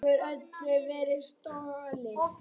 Þessu hefur öllu verið stolið!